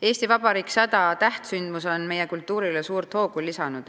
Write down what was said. "Eesti Vabariik 100" tähtsündmus on meie kultuurile suurt hoogu lisanud.